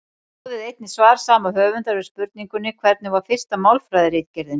Skoðið einnig svar sama höfundar við spurningunni Hvernig var fyrsta málfræðiritgerðin?